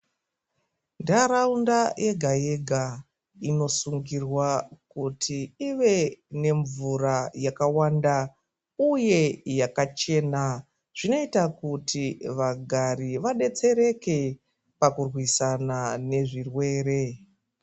Ntaraunda yega-yega inosungirwa kuti ive nemvura yakawanda uye yakachena. Zvinoita kuti vagari vadetsereke, pakurwisana nezvirwere.